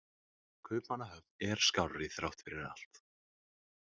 Kaupmannahöfn er skárri þrátt fyrir allt.